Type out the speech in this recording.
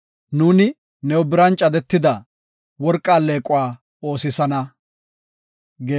Nuuni new biran cadetida, worqa alleequwa oosisana.